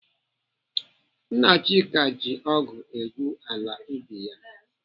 Nna Chika ji ọgụ egwu ala ubi ya.